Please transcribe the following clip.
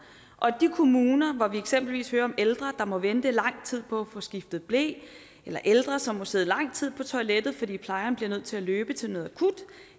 og at de kommuner hvor vi eksempelvis hører om ældre der må vente i lang tid på at få skiftet ble eller ældre som må sidde lang tid på toilettet fordi plejeren bliver nødt til at løbe til noget akut